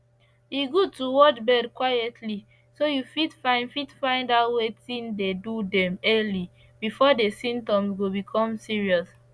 e good to watch bird quietly so you fit find fit find out wetin dey do them early before the symptoms go become serious